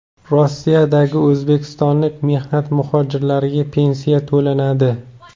Rossiyadagi o‘zbekistonlik mehnat muhojirlariga pensiya to‘lanadi.